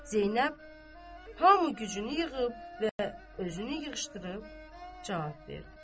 Zeynəb hamı gücünü yığıb və özünü yığışdırıb cavab verdi.